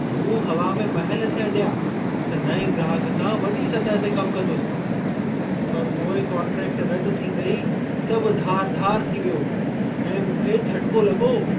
मूं हवा में महल थे अॾिया त नएं ग्राहक सां वॾी सतह ते कम कंदुसि, पर पोइ कॉन्ट्रैक्टु रदि थींदे ई सभु धार धार थी वियो ऐं मूंखे झटिको लॻो।